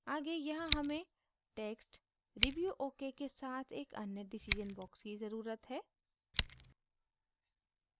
आगे यहाँ हमें text review okay के साथ एक अन्य decision box की ज़रुरत है